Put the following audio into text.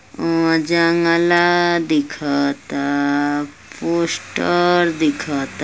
अ जंगाला दिखता पोस्टर दिखता।